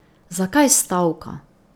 Zakaj stavka?